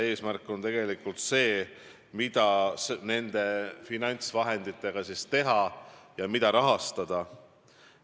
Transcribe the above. Eesmärk on tegelikult otsustada, mida nende finantsvahenditega teha ja mida rahastada.